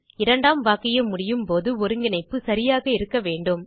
இரண்டாம் வாக்கியம் முடியும்போது ஒருங்கிணைப்பு சரியாக இருக்க வேண்டும்